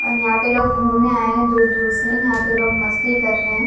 और यहां पे लोग घूमने आए है दूर दूर से यहां पे लोग मस्ती कर रहे हैं।